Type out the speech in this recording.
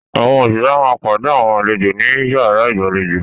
Àwọn òṣìṣẹ́ máa pàdé àwọn àlejò ní yàrá ìgbàlejò.